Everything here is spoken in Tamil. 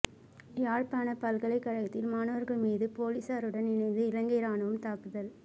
யாழ்ப்பாண பல்கலைக் கழகத்தில் மாணவர்கள் மீது போலீசாருடன் இணைந்து இலங்கை ராணுவம் தாக்குதல்